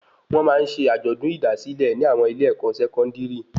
Wọn máa ń ṣe ajọdun idasilẹ ni àwọn ilé-èkó sẹkọndiri